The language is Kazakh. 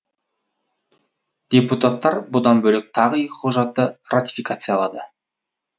депутаттар бұдан бөлек тағы екі құжатты ратификациялады